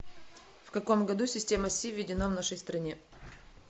в каком году система си введена в нашей стране